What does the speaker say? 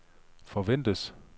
forventes